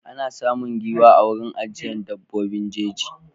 Ana samun giwa a wurin ajiyar dabbobin jeji.